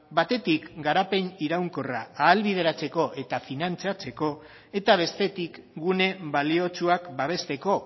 batetik garapen iraunkorra ahalbideratzeko eta finantzatzeko eta bestetik gune baliotsuak babesteko